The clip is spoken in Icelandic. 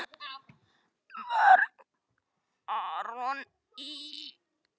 Vörn: Aron Ý.